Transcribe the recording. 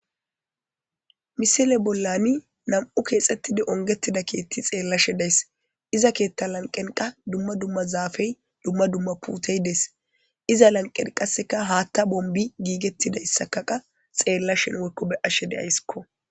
Misile bollani nam7u keexettidi ongettida keetti xeellashe days iza keetta lanqenqa dumma dumma zaafey dumma dumma putey dees iza lanqen qasseka haatta bombi giigettidayssakaqa xeella shen wekobe ashe deaysskko.